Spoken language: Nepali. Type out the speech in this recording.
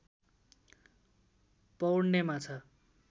पौड्ने माछा